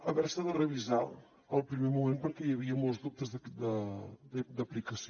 haver se de revisar al primer moment perquè hi havia molts dubtes d’aplicació